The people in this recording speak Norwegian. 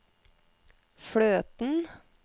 fløten